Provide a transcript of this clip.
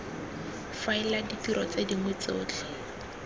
faela ditiro tse dingwe tsotlhe